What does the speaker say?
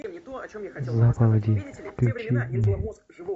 заповеди включи мне